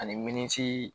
Ani minisi